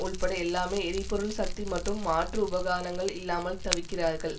உள்பட எல்லாமே எரிபொருள் சக்தி மற்றும் மாற்று உபகரணங்கள் இல்லாமல் தவிக்கிறார்கள்